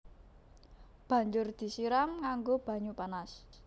Banjur disiram nganggo banyu panas